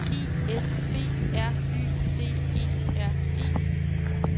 I S B R Y D E R E